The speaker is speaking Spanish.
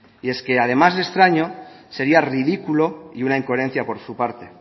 y es que además de extraño sería ridículo y una incoherencia por su parte